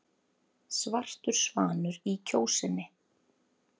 Svartur svanur í Kjósinni